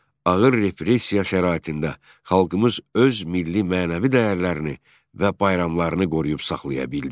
Ağır repressiya şəraitində xalqımız öz milli mənəvi dəyərlərini və bayramlarını qoruyub saxlaya bildi.